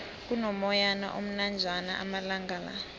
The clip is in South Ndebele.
kuno moyana omnanjana amalangala